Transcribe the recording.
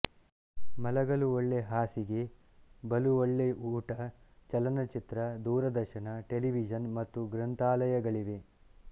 ಮಲಗಲು ಒಳ್ಳೆ ಹಾಸಿಗೆ ಬಲು ಒಳ್ಳೆ ಊಟ ಚಲನಚಿತ್ರ ದೂರದರ್ಶನ ಟೆಲಿವಿಜನ್ ಮತ್ತು ಗ್ರಂಥಾಲಯಗಳಿವೆ